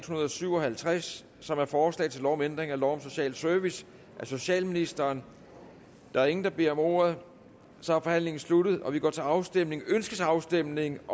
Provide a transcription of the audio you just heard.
hundrede og syv og halvtreds som er forslag til lov om ændring af lov om social service af socialministeren der er ingen der beder om ordet og så er forhandlingen sluttet og vi går til afstemning afstemning